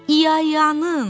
İyayanın!